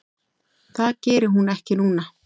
Það geri hún ekki núna.